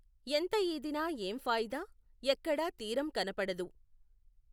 ఎంత ఈదినా ఏం ఫాయిదా, ఎక్కడా తీరం కనపడదు.